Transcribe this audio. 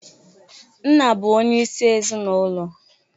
Nna bụ onye isi ezinaulo.